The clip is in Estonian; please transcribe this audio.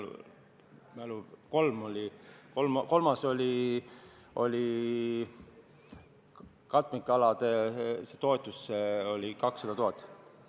Kolm ettepanekut siiski oli, kolmas oli katmikalade toetus 200 000 eurot.